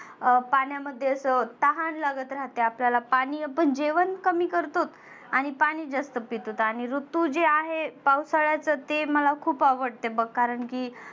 अं पाण्यामध्ये कसं तहान लागत राहते आपल्याला. पाणि आपण जेवण कमी करतोत आणि पाणि जास्त पितोत आणि तु जे आहे पावसाळ्यातच ते मला खुप आवडते बघ. कारण की